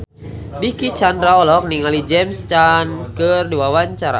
Dicky Chandra olohok ningali James Caan keur diwawancara